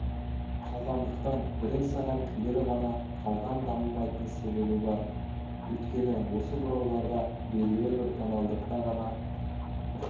қалғандықтан бірен-саран күйлер ғана қалған дамымайтын себебі бар өйткені осы бұрауларда белгілі бір тональдықта ғана